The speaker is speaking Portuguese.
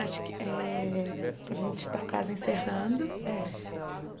Acho que eh a gente está quase encerrando. É